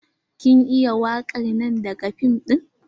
Kin iya wakan nan daga fim din?